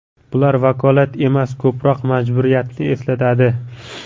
Bular vakolat emas, ko‘proq majburiyatni eslatadi.